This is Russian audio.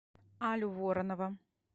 алю воронова